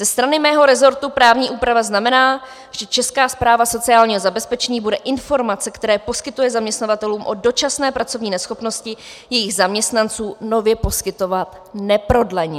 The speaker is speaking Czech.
Ze strany mého resortu právní úprava znamená, že Česká správa sociálního zabezpečení bude informace, které poskytuje zaměstnavatelům o dočasné pracovní neschopnosti jejich zaměstnanců, nově poskytovat neprodleně.